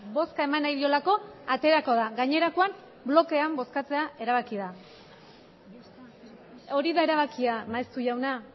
bozka eman nahi diolako aterako da gainerakoan blokean bozkatzea erabaki da hori da erabakia maeztu jauna